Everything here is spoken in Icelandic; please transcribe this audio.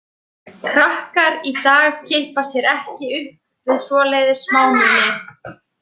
Krakkar í dag kippa sér ekki upp við svoleiðis smámuni.